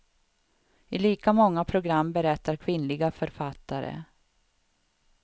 I lika många program berättar kvinnliga författare.